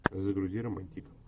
загрузи романтик